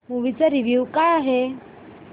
movie चा review काय आहे